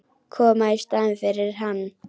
Koma í staðinn fyrir hann.